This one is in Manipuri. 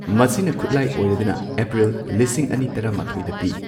ꯃꯁꯤꯅ ꯈꯨꯠꯂꯥꯏ ꯑꯣꯏꯔꯗꯨꯅ, ꯑꯦꯄ꯭ꯔꯤꯜ ꯂꯤꯁꯤꯡ ꯑꯅꯤ ꯇꯔꯥꯃꯥꯊꯣꯏꯗ ꯄꯤ꯫